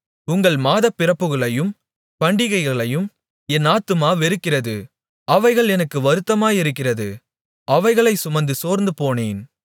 உங்கள் மாதப்பிறப்புகளையும் பண்டிகைகளையும் என் ஆத்துமா வெறுக்கிறது அவைகள் எனக்கு வருத்தமாயிருக்கிறது அவைகளைச் சுமந்து சோர்ந்துபோனேன்